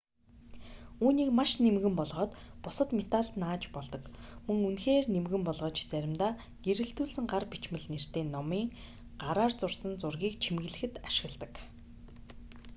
үүнийг маш нимгэн болгоод бусад металд нааж болдог мөн үнэхээр нимгэн болгож заримдаа гэрэлтүүлсэн гар бичмэл нэртэй номын гараар зурсан зургийг чимэглэхэд ашигладаг